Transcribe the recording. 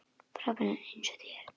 Frábær eins og þér.